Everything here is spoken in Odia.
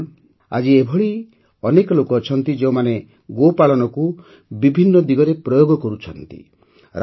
ବନ୍ଧୁଗଣ ଆଜି ଏପରି ଅନେକ ଲୋକ ଅଛନ୍ତି ଯେଉଁମାନେ ଗୋପାଳନକୁ ବିଭିନ୍ନ ଦିଗରେ ପ୍ରୟୋଗ କରୁଛନ୍ତି